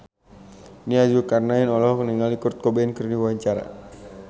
Nia Zulkarnaen olohok ningali Kurt Cobain keur diwawancara